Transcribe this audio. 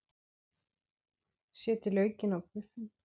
Setjið laukinn á buffin.